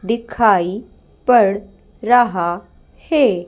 दिखाई पड़ रहा है।